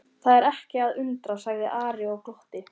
Það er ekki að undra, sagði Ari og glotti.